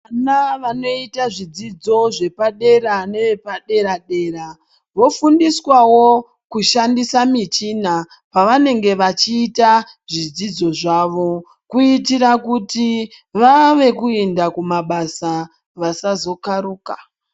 Vana vanoita zvidzidzo zvepadera nevepadera dera vofundiswawo kushandisa michina pavanenge vachiita zvidzidzo zvavo kuitira kuti vave kuinda kumabasa vasazokaruka.